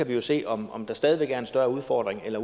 vi jo se om om der stadig væk er en større udfordring eller